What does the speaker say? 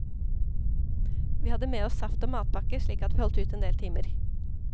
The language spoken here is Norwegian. Vi hadde med oss saft og matpakke, slik at vi holdt ut en del timer.